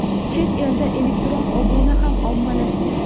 Chet elda elektron obuna ham ommalashgan.